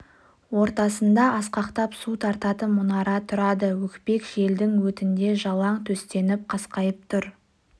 ортасында асқақтап су тартатын мұнара тұрады өкпек желдің өтінде жалаң төстеніп қасқайып тұр